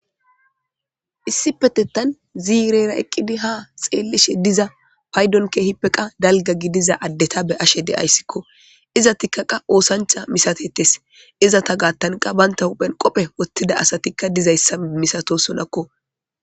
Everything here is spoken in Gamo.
Issipetetha zirrera eqidda ha xelishe diza payidoni kehipeka gidiza adeta beyashe dayisiko izatika osanicha misatetesi izata gathani banita hupheni qobe wothida asati dizayisa misatosonako